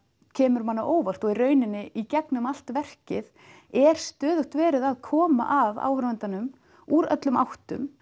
kemur manni á óvart og í rauninni í gegnum allt verkið er stöðugt verið að koma að áhorfandanum úr öllum áttum